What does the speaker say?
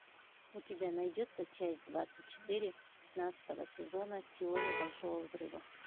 у тебя найдется часть двадцать четыре пятнадцатого сезона теория большого взрыва